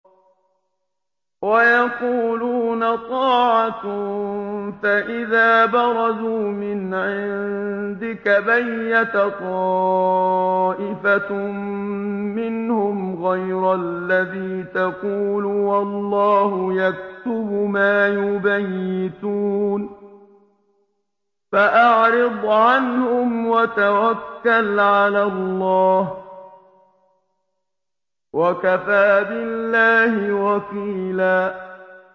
وَيَقُولُونَ طَاعَةٌ فَإِذَا بَرَزُوا مِنْ عِندِكَ بَيَّتَ طَائِفَةٌ مِّنْهُمْ غَيْرَ الَّذِي تَقُولُ ۖ وَاللَّهُ يَكْتُبُ مَا يُبَيِّتُونَ ۖ فَأَعْرِضْ عَنْهُمْ وَتَوَكَّلْ عَلَى اللَّهِ ۚ وَكَفَىٰ بِاللَّهِ وَكِيلًا